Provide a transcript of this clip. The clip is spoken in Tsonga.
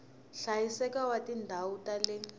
hlayiseka wa tindhawu ta le